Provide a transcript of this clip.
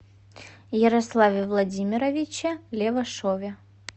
ярославе владимировиче левашове